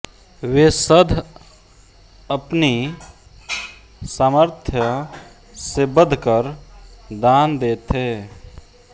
वे सध अप्नि सामर्थ्य से बध्कर दान दे थे